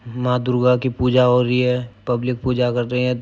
माँ दुर्गा की पूजा हो रही है। पब्लिक पूजा कर रहें हैं।